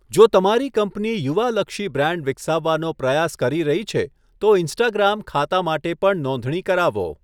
જો તમારી કંપની યુવા લક્ષી બ્રાન્ડ વિકસાવવાનો પ્રયાસ કરી રહી છે, તો ઇન્સ્ટાગ્રામ ખાતા માટે પણ નોંધણી કરાવો.